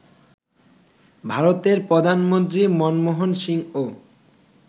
ভারতের প্রধানমন্ত্রী মনমোহন সিংও